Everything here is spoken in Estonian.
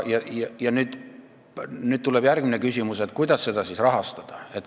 Ja nüüd tuleb järgmine küsimus: kuidas seda siis rahastada?